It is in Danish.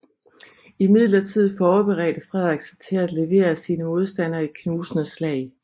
Imidlertid forberedte Frederik sig til at levere sine modstandere et knusende slag